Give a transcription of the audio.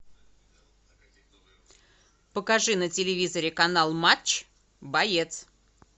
покажи на телевизоре канал матч боец